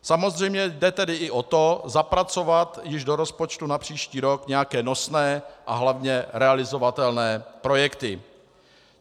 Samozřejmě jde tedy i o to zapracovat již do rozpočtu na příští rok nějaké nosné a hlavně realizovatelné projekty.